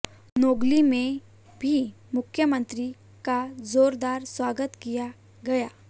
नोगली में भी मुख्यमंत्री का जोरदार स्वागत किया गया